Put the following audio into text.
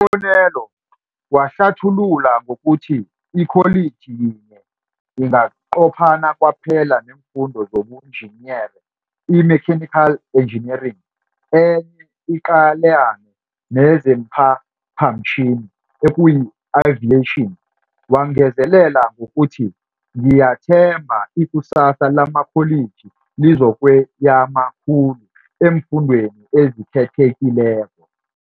bonelo, wahlathulula ngokuthi ikholiji yinye inganqophana kwaphela neemfundo zobunjiniyere imechanical engineering enye iqalane nezeemphaphamtjhini ekuyiaviation. Wangezelela ngokuthi, Ngiyathemba ikusasa lamakholiji lizokweyama khulu eemfundweni ezikhethekileko.